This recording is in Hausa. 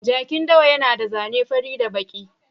Jakin dawa yana da zane fari da baki.